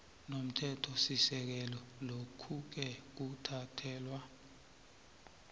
nomthethosisekelo lokhuke kuthathelwa